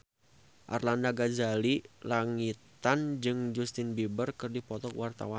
Arlanda Ghazali Langitan jeung Justin Beiber keur dipoto ku wartawan